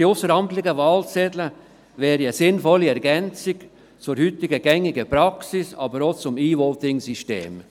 Die ausseramtlichen Wahlzettel wären eine sinnvolle Ergänzung zur heute gängigen Praxis, aber auch zum E-Voting-System.